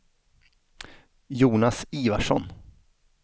Jonas Ivarsson